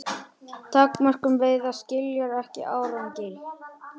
Takmörkun veiða skilar ekki árangri